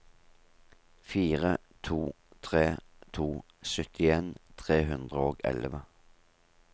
fire to tre to syttien tre hundre og elleve